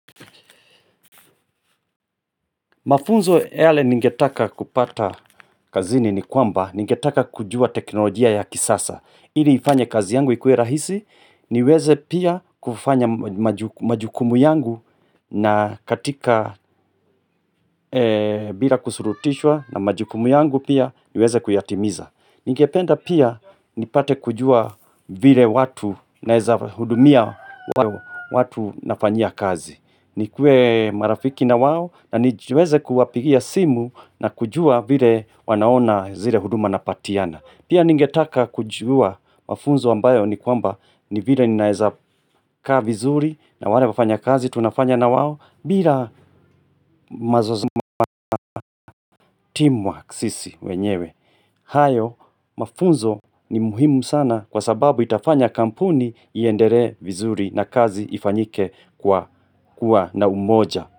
Mafunzo yale ningetaka kupata kazini ni kwamba, ningetaka kujua teknolojia ya kisasa. Ili ifanye kazi yangu ikue rahisi, niweze pia kufanya maju majukumu yangu na katika bila kusurutishwa na majukumu yangu pia niweze kuyatimiza. Ningependa pia nipate kujua vile watu naweza hudumia watu nafanyia kazi. Nikue marafiki na wao na nijueze kuwapigia simu na kujua vile wanaona zile huduma napatiana. Pia ningetaka kujua mafunzo ambayo ni kwamba ni vile ninaezaka vizuri na wale wafanya kazi tunafanya na wao bila mazo team work sisi wenyewe. Hayo mafunzo ni muhimu sana kwa sababu itafanya kampuni iendere vizuri na kazi ifanyike kwa kuwa na umoja.